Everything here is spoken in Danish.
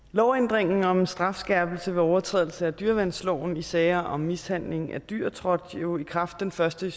lovændringen om en strafskærpelse ved overtrædelse af dyreværnsloven i sager om mishandling af dyr trådte jo i kraft den første